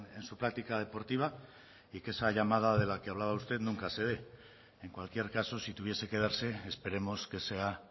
en su práctica deportiva y que esa llamada de la que hablaba usted nunca se dé en cualquier caso si tuviese que darse esperemos que sea